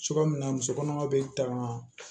Cogoya min na muso kɔnɔma bɛ tanga